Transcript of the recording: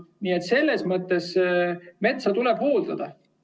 Nii et selles mõttes tuleb metsa hooldada.